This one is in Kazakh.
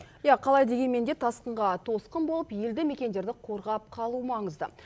иә қалай дегенменде тасқынға тосқын болып елді мекендерді қорғап қалу маңызды